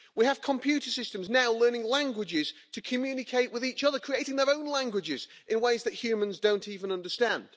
We have computer systems now learning languages to communicate with each other, creating their own languages, in ways that humans don't even understand.